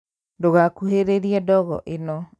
Ndũgakuhĩrĩrie ndogo ĩno